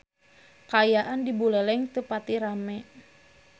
Kaayaan di Buleleng teu pati rame